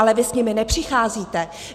Ale vy s nimi nepřicházíte.